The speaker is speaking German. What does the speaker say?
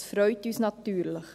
Dies freut uns natürlich.